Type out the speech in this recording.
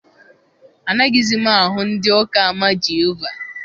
Anaghịzi m ahụ ndị ụka ama Jehova.